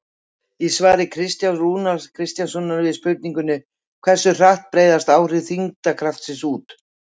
Í svari Kristjáns Rúnars Kristjánssonar við spurningunni Hversu hratt breiðast áhrif þyngdarkraftsins út?